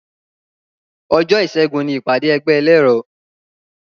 Òjó ìṣẹ́gun ni ìpàdé ẹgbẹ́ ẹlẹ́rọ